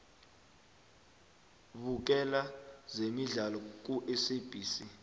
bukela zemidlalo kusabc